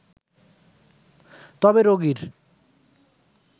তবে রোগীর